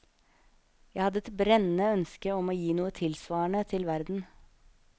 Jeg hadde et brennende ønske om å gi noe tilsvarende til verden.